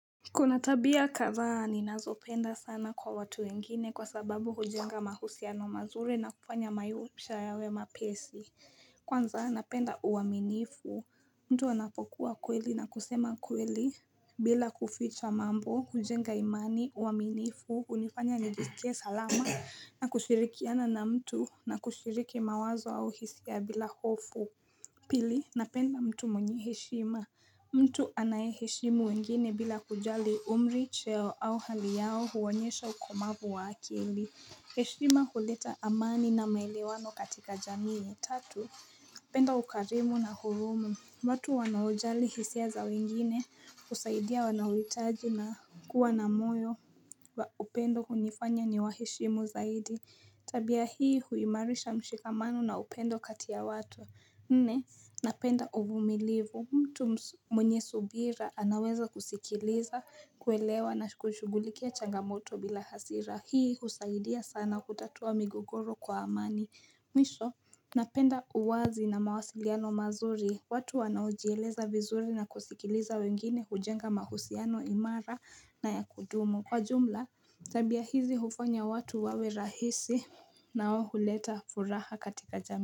Kuna tabia kadhaa ninazopenda sana kwa watu wengine kwa sababu hujenga mahusiano mazuri na kufanya maisha yawe mapesi. Kwanza napenda uaminifu. Mtu anapokuwa kweli na kusema kweli bila kuficha mambo, hujenga imani, uaminifu, hunifanya nijisikie salama na kushirikiana na mtu na kushiriki mawazo au hisia bila hofu. Pili napenda mtu mwenye heshima mtu anae heshimu wengine bila kujali umri cheo au hali yao huonyesha ukomavu wa akili heshima huleta amani na maelewano katika jamii ya Tatu penda ukarimu na hurumu watu wanaojali hisia za wengine husaidia wanaohitaji na kuwa na moyo upendo hunifanya niwaheshimu zaidi Tabia hii huimarisha mshikamano na upendo kati ya watu nne, napenda uvumilivu, mtu mwenye subira anaweza kusikiliza, kuelewa na kushughulikia changamoto bila hasira Hii husaidia sana kutatua migogoro kwa amani Mwisho, napenda uwazi na mawasiliano mazuri, watu wanaojieleza vizuri na kusikiliza wengine hujenga mahusiano imara na ya kudumu Kwa jumla, tabia hizi hufanya watu wawe rahisi na wao huleta furaha katika jamii.